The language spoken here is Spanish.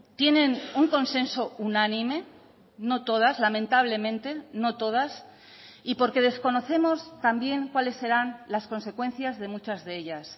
tienen un consenso unánime no todas lamentablemente no todas y porque desconocemos también cuáles serán las consecuencias de muchas de ellas